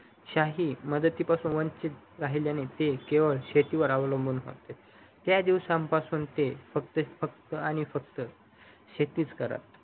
शाही मदतीपासून वंचित केल्याने ते केवड शेतीकर अवलंबून होते त्यादिवसा पासून ते फक्त आणि फक्त शेतीच करत